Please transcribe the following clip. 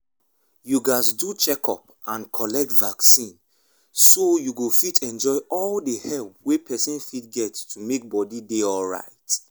you gatz do checkup and collect vaccine so you go fit enjoy all the help wey person fit get to make body dey alright.